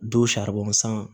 Don san